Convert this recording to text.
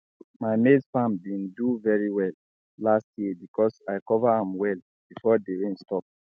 my maize farm been do very well last year because i cover am well before the rain stop